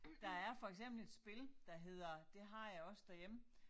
Der er for eksempel et spil der hedder det har jeg også derhjemme